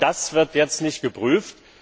Genau das wird jetzt nicht geprüft.